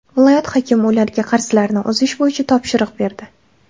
Viloyat hokimi ularga qarzlarni uzish bo‘yicha topshiriq berdi.